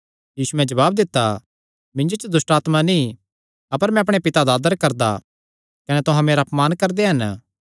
यीशुयैं जवाब दित्ता मिन्जो च दुष्टआत्मा नीं अपर मैं अपणे पिता दा आदर करदा कने तुहां मेरा अपमान करदे हन